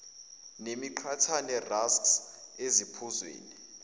nemiqhathane rusks eziphuzweni